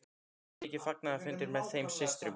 Þar urðu miklir fagnaðarfundir með þeim systrum.